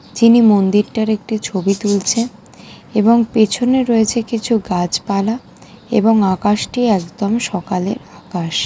চিনি মন্দিরটার একটি ছবি তুলছে। এবং পেছনে রয়েছে কিছু গাছপালা এবং আকাশটি একদম সকালের আকাশ।